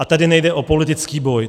A tady nejde o politický boj.